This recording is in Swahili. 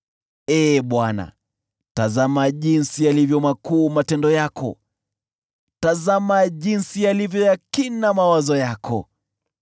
Ee Bwana , tazama jinsi yalivyo makuu matendo yako, tazama jinsi yalivyo ya kina mawazo yako!